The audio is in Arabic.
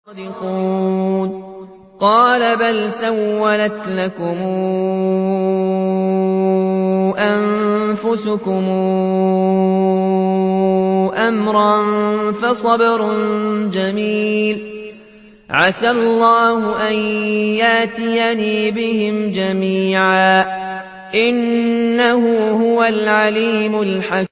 قَالَ بَلْ سَوَّلَتْ لَكُمْ أَنفُسُكُمْ أَمْرًا ۖ فَصَبْرٌ جَمِيلٌ ۖ عَسَى اللَّهُ أَن يَأْتِيَنِي بِهِمْ جَمِيعًا ۚ إِنَّهُ هُوَ الْعَلِيمُ الْحَكِيمُ